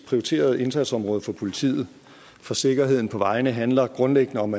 prioriteret indsatsområde for politiet for sikkerheden på vejene handler grundlæggende om